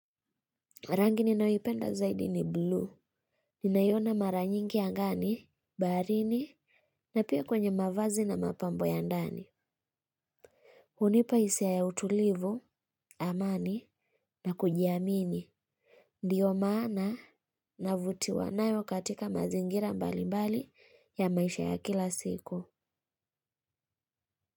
Rangi ninayoipenda zaidi ni blu. Ninaiona mara nyingi angani baharini na pia kwenye mavazi na mapambo ya ndani. Hunipa hisia ya utulivu amani na kujiamini. Ndiyo maana na vutiwa nayo katika mazingira mbali mbali ya maisha ya kila siku.